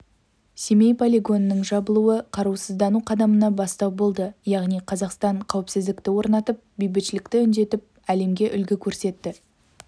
семей полигонының жабылуы қарусыздану қадамына бастау болды яғни қазақстан қауіпсіздікті орнатып бейбітшілікті үндеп әлемге үлгі көрсетті